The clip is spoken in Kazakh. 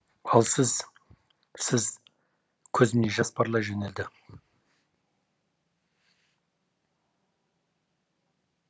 ал сіз сіз көзімнен жас парлай жөнелді